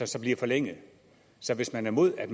som bliver forlænget så hvis man er imod at